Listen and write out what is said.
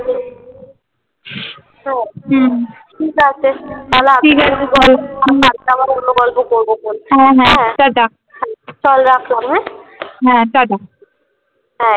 হ্যাঁ হুম ঠিক আছে তাহলে আজকে ঠিক আছে চল কালকে আবার অন্য গল্প করবো খোন। হ্যাঁ হ্যাঁ টাটা চল রাখলাম হ্যাঁ হ্যাঁ টাটা।